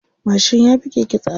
Mashin ya fi keke tsada.